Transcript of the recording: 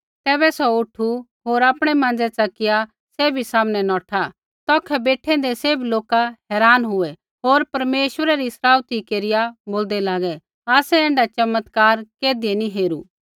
तैबै सौ उठु होर आपणै माँज़ै च़किया सैभी सामनै नौठा तौखै बेठैंदै सैभै लोका हैरान हुऐ होर परमेश्वरै री सराउथी केरिया बोलदै लागै आसै ऐण्ढा चमत्कार कैधियै नी हेरू